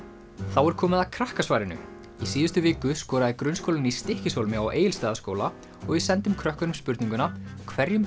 þá er komið að krakkasvarinu í síðustu viku skoraði Grunnskólinn í Stykkishólmi á Egilsstaðaskóla og við sendum krökkunum spurninguna hverjum